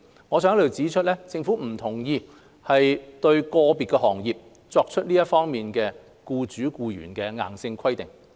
我想在這裏指出，政府不同意就個別行業作出這樣的僱主僱員硬性規定。